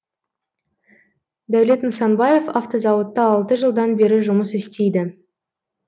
дәулет нысанбаев автозауытта алты жылдан бері жұмыс істейді